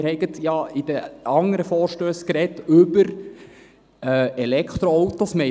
Wir haben gerade in den anderen Vorstössen über Elektroautos gesprochen.